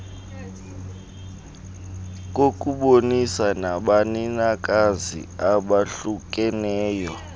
kokubonisana nabanikazi abahlukeneyo